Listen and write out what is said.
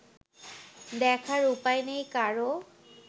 দেখার উপায় নেই কারও